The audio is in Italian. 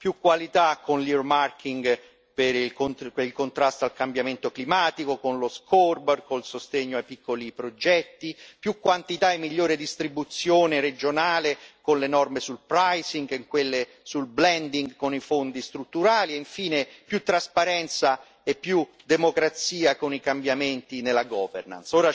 Più qualità con l' earmarking per il contrasto al cambiamento climatico, con lo scoreboard con il sostegno ai piccoli progetti, più quantità e migliore distribuzione regionale con le norme sul pricing e in quelle sul blending con i fondi strutturali, e infine più trasparenza e più democrazia con i cambiamenti nella governance.